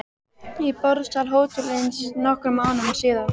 Í borðsal hótelsins nokkrum mánuðum síðar.